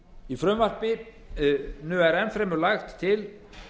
í frumvarpinu eru enn fremur lagðar til